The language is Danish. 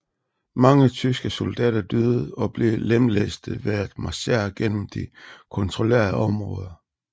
Mange tyske soldater døde eller blev lemlæstet ved at marchere gennem det kontrollerede område